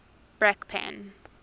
brakpan